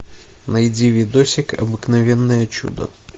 найди видосик обыкновенное чудо